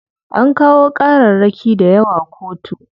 An kawo ƙararraki dayawa kotu.